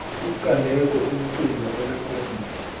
kucandeko umcinga onekhothini